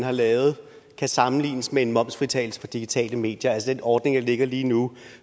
har lavet kan sammenlignes med en momsfritagelse for digitale medier altså den ordning der ligger lige nu